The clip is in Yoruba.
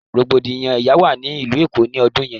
Rogbodiyan ẹya wa ni ilu Eko ni ọdun yẹn